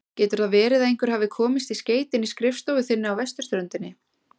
Getur það verið að einhver hafi komist í skeytin í skrifstofu þinni á vesturströndinni?